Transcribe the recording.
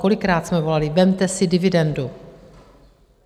Kolikrát jsme volali, vezměte si dividendu?